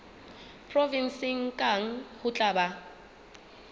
provenseng kang ho tla ba